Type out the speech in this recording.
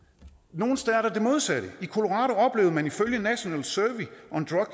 nogle steder sker der det modsatte i colorado oplevede man ifølge national survey on